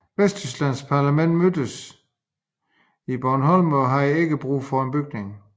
Vesttysklands parlament mødtes i Bonn og havde ikke brug for bygningen